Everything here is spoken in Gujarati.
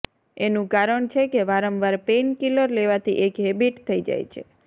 એનું કારણ છે કે વારંવાર પેઇનકિલર લેવાથી એક હૅબિટ થઈ જાય છે